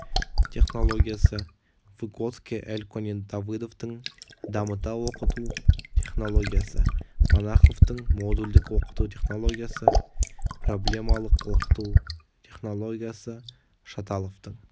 технологиясы выготский эльконин давыдовтің дамыта оқыту технологиясы монаховтың модульдік оқыту технологиясы проблемалық оқыту техологиясы шаталовтың